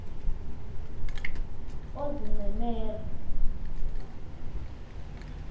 oozincemera